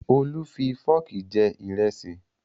Olú fi fọ́ọ̀kì jẹ ìrẹsì